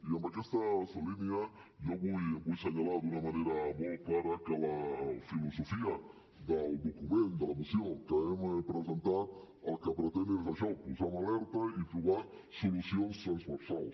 i amb aquesta línia jo vull assenyalar d’una manera molt clara que la filosofia del document de la moció que hem presentat el que pretén és això posar en alerta i trobar solucions transversals